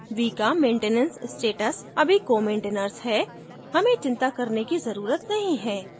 v का maintenance status अभी comaintainers है हमें चिंता करने की जरूरत नहीं है